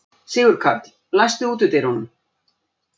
Sigurkarl, læstu útidyrunum.